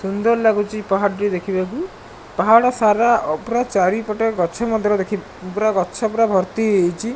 ସୁନ୍ଦର ଲାଗୁଚି ପାହାଡ ଟି ଦେଖିବାକୁ ପାହାଡ଼ ସାରା ଚାରି ପଟେ ଗଛ ମଧ୍ୟ ଦେଖି ପୁରା ଗଛ ପୁରା ଭର୍ତି ହୋଇଯାଇଚି ।